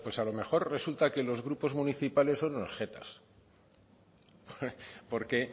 a lo mejor resulta que los grupos municipales son unos jetas porque